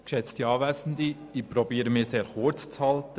Ich versuche, mich sehr kurz zu fassen.